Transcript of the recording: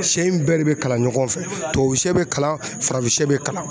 Siyɛ in bɛɛ de bɛ kalan ɲɔgɔn fɛ tubabusiyɛ bɛ kalan farafinsiyɛ bɛ kalan.